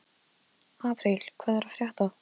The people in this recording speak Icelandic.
Apríl, hvað er að frétta?